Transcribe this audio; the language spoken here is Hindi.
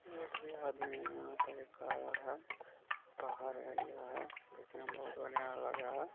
एक भी आदमी यहाँ पे एक आ रहा है । बाहर एरिया है देखने में बहोत बढ़िया लग रहा है ।